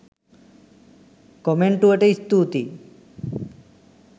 කොමෙන්ටුවට ස්තූතියි.